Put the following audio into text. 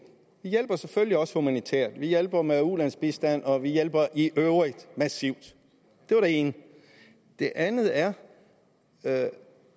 vi hjælper selvfølgelig også humanitært vi hjælper med ulandsbistand og vi hjælper i øvrigt massivt det var det ene det andet er at